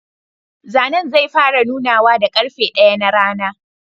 Zanen zai fara nunawa da karfe daya na rana.